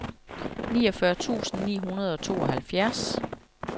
niogfyrre tusind ni hundrede og tooghalvfjerds